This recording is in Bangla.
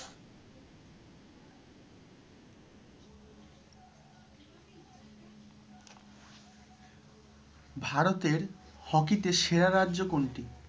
ভারতের hockey তে সেরা রাজ্য কোনটি?